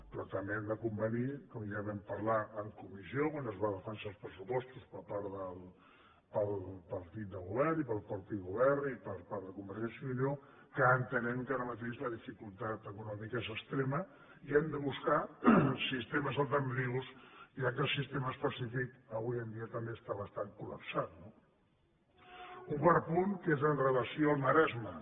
però també hem de convenir com ja vam parlar en comissió quan es van defensar els pressupostos per part del partit de govern i pel mateix govern i per part de convergència i unió que entenem que ara mateix la dificultat econòmica és extrema i hem de buscar sistemes alternatius ja que el sistema específic avui en dia també està bastant collapsat no un quart punt que és amb relació al maresme